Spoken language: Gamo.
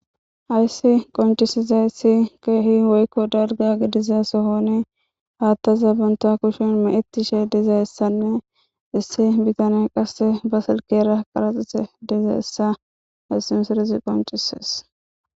Hayssi konccisizaysi kehi woykko dalgga giidiza sohon hattazan bantta kushshe meccetishe diizayssane issi bittaney qasse ba silkkera qarraxiza diizayssa hayssi missilezi qonccises.